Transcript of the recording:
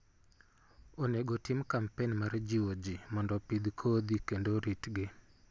Onego otim kampen mar jiwo ji mondo opidh kodhi kendo oritgi.